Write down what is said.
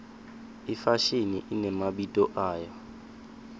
ifashini inemabito ayo